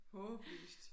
Håbløst